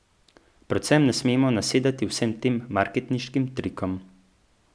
Predvsem ne smemo nasedati vsem tem marketinškim trikom.